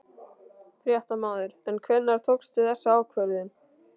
Fréttamaður: En hvenær tókstu þessa ákvörðun?